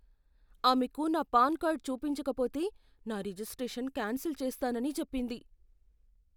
ఆమెకు నా PAN card చూపించకపోతే నా రిజిస్ట్రేషన్ క్యాన్సిల్ చేస్తానని చెప్పింది.